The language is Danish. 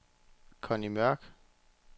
Conni Mørch